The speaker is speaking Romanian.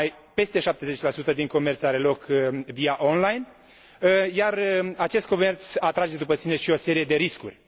peste 70 din comerț are loc online, iar acest comerț atrage după sine și o serie de riscuri.